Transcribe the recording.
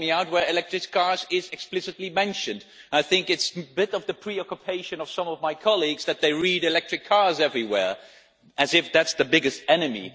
Point out to me where electric cars' is explicitly mentioned. I think it is a bit of a preoccupation with some of my colleagues that they read electric cars' everywhere, as if that is the biggest enemy.